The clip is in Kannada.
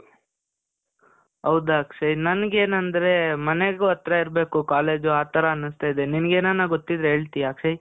ಹೌದಾ ಅಕ್ಷಯ್? ನನ್ಗೆ ಏನಂದ್ರೆ ಮನೆಗೂ ಹತ್ರ ಇರ್ಬೇಕು ಕಾಲೇಜ್ ಆ ಥರ ಅನ್ನಸ್ತಾ ಇದೆ. ನಿನಿಗ್ ಏನನ ಗೊತ್ತಿದ್ರೆ ಹೇಳ್ತೀಯ ಅಕ್ಷಯ್?